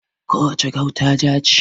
Ko wace gauta ja ce.